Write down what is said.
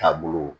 Taabolo